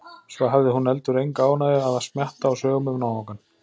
Svo hafði hún heldur enga ánægju af að smjatta á sögum um náungann.